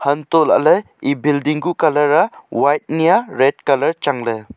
hantoh lah ley yeh building kuh colour a white ni a red colour chang ley.